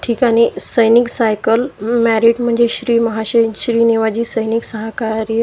ठिकाणी सैनिक cycle married मेजश्री महाशयन श्री निवाजी सैनिक सहकार्य --